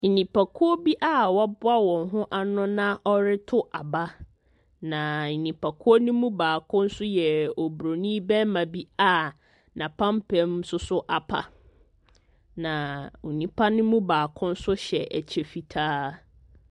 Nipakuo bi a wɔaboa wɔn ho ano na wɔreto aba. Na nipakuo no mu baako nso yɛ Oburonin barima bi a n'apampam nso so apa. Na onipa no mu baako nso hyɛ ɛkyɛ fitaa.